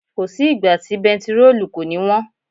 Kò sí ìgbà tí bẹntiróòlù kò ní wọ́n.